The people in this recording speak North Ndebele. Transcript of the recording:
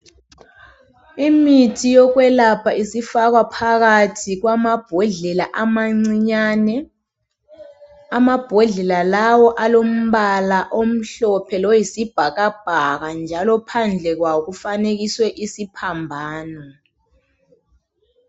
Imithi yokwelapha isifakwa phakathi kwamabhodlela amancinyane .Amabhodlela lawo alombala omhlophe loyisibhakabhaka njalo phandle kwawo kufanekiswe isiphambano